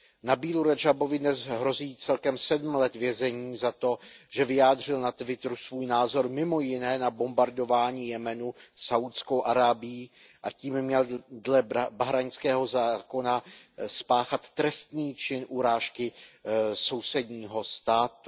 Nabílu Radžábovi dnes hrozí celkem 7 let vězení za to, že vyjádřil na Twitteru svůj názor mimo jiné na bombardování Jemenu Saúdskou Arábií, a tím měl dle bahrajnského zákona spáchat trestný čin urážky sousedního státu.